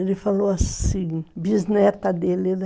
Ele falou assim, bisneta dele, né?